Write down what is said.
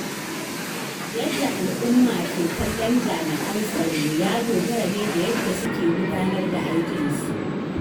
Yadda al’umma ke kallon jami'an tsaro ya dogara ne da yadda suke gudanar da aikinsu.